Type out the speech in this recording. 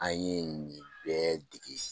An ye nin bɛɛ dege